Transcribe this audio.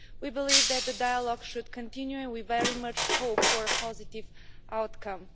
We believe that the dialogue should continue and we very much hope for a positive outcome.